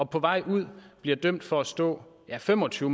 på vej ud bliver dømt for at stå ja fem og tyve